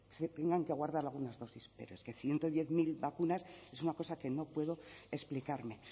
se tendrán que guardar algunas dosis pero es que ciento diez mil vacunas es una cosa que no puedo explicarme